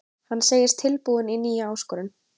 Hann segist tilbúinn í nýja áskorun.